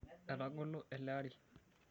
Etagolo ele ari.